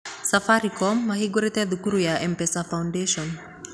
Safaricom mahingũrire thukuru ya M-pesa Foundation.